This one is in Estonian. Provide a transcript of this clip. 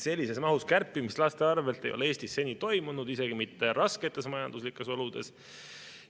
Sellises mahus kärpimist laste arvel ei ole Eestis seni toimunud, isegi mitte rasketes majanduslikes oludes.